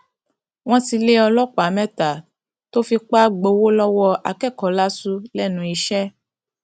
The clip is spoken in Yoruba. wọn ti lé ọlọpàá mẹta tó fipá gbowó lọwọ akẹkọọ láṣù lẹnu iṣẹ